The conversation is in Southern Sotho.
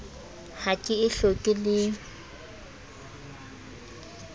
ha ke e hloke le